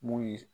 Mun ye